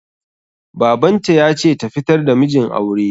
Babanta ya ce ta fitar da mijin aure